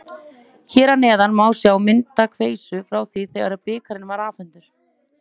Hér að neðan má sjá myndaveislu frá því þegar bikarinn var afhentur.